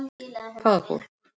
Hvaða fólk?